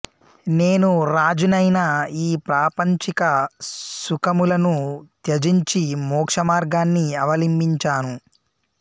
నేను రాజునైనా ఈ ప్రాపంచిక సుఖములను త్యజించి మోక్షమార్గాన్ని అవలింబించాను